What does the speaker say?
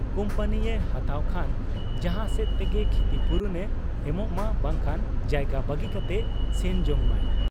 ᱠᱩᱢᱯᱟᱹᱱᱤᱭᱮ ᱦᱟᱛᱟᱣ ᱠᱷᱟᱱ ᱡᱟᱦᱟᱸ ᱥᱮᱫ ᱛᱮᱜᱮ ᱠᱷᱤᱛᱤᱯᱩᱨᱚᱱ ᱮ ᱮᱢᱚᱜ ᱢᱟ ᱵᱟᱝᱠᱷᱟᱱ ᱡᱟᱭᱜᱟ ᱵᱟᱹᱜᱤ ᱠᱟᱛᱮ ᱥᱮᱱ ᱡᱚᱝ ᱢᱟᱭ ᱾